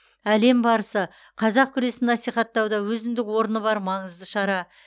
әлем барысы қазақ күресін насихаттауда өзіндік орны бар маңызды шара